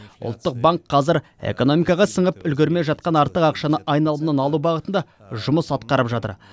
ұлттық банк қазір экономикаға сіңіп үлгермей жатқан артық ақшаны айналымнан алу бағытында жұмыс атқарып жатыр